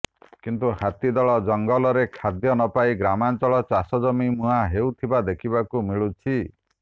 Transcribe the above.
କିନ୍ତୁ ହାତୀ ଦଳ ଜଙ୍ଗଲ ରେ ଖାଦ୍ୟ ନପାଇ ଗ୍ରାମାଞ୍ଚଳ ଚାଷ ଜମି ମୁହାଁ ହେଉଥିବା ଦେଖିବାକୁ ମିଳୁଛି